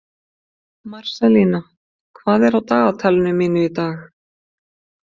Marselína, hvað er á dagatalinu mínu í dag?